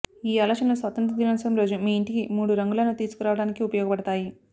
ఈ ఆలోచనలు స్వాతంత్ర్య దినోత్సవం రోజు మీ ఇంటికి మూడు రంగులను తీసుకురావడానికి ఉపయోగపడతాయి